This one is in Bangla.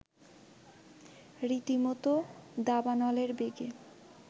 রীতিমত দাবানলের বেগে